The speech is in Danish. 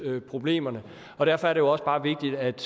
problemerne og derfor er det også bare vigtigt at